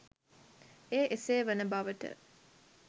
එය එසේ වන බවට